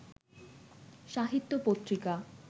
সাহিত্য পত্রিকা